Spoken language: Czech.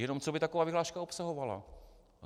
Jenom co by taková vyhláška obsahovala?